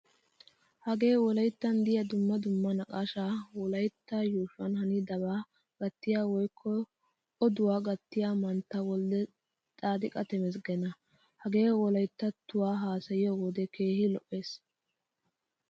Hagee wolayttan deiyaa dumma dumma naaqqashsha wolaytta yuushuwan hanidaba gattiya woykko oduwaa gattiyaa mantta w/tsadiqaa tamaasaggana. Hagee wolayttattuwaa haasayiyo wode keehin lo'ees.